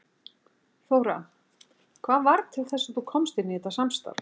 Þóra: Hvað varð til þess að þú komst inn í þetta samstarf?